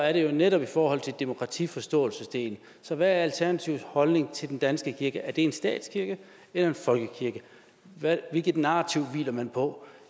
er det netop i forhold til demokratiforståelsesdelen så hvad er alternativets holdning til den danske kirke er det en statskirke eller en folkekirke hvilket narrativ hviler man på